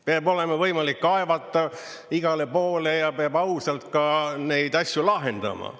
Peab olema võimalik kaevata igale poole ja peab ausalt ka neid asju lahendama.